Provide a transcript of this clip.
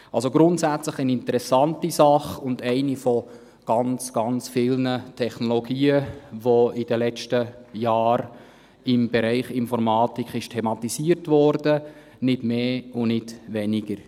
Also: Grundsätzlich eine interessante Sache und eine von ganz vielen Technologien, die in den letzten Jahren im Bereich Informatik thematisiert wurde, nicht mehr und nicht weniger.